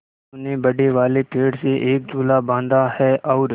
मनु ने बड़े वाले पेड़ से एक झूला बाँधा है और